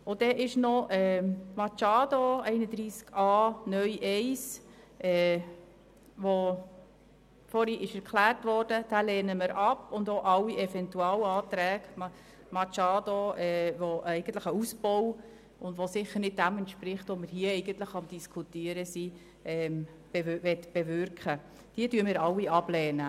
Den Antrag Machado zu Artikel 31a (neu) Absatz 1, der vorhin erklärt worden ist, lehnen wir ab, ebenso wie alle Eventualanträge Machado, die eigentlich einen Ausbau darstellen und nicht dem entsprechen, was wir hier bewirken möchten.